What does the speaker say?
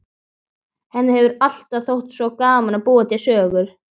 Henni hefur alltaf þótt svo gaman að búa til sögur.